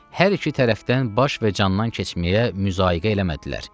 Hər iki tərəfdən baş və candan keçməyə müzaqə elədilər.